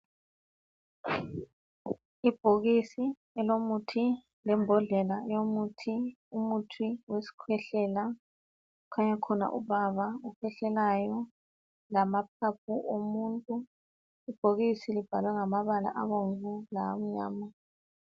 Ibhokisi elomuthi lembodlela eyomuthi. Umuthi wesikhwehlela, khanya khona ubaba okhwehlelayo, lamaphapho omuntu. Ibhokisi libhaliwe ngamabala abomvu lamnyama.